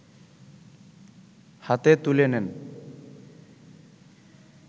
হাতে তুলে নেন